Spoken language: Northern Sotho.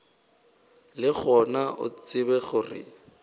le gona o tsebe gore